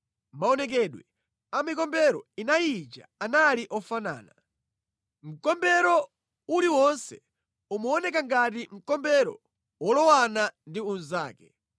Maonekedwe a mikombero inayi ija anali ofanana. Mkombero uliwonse umaoneka ngati mkombero wolowana ndi unzake.